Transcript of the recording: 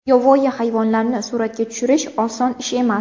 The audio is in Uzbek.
Yovvoyi hayvonlarni suratga tushirish oson ish emas.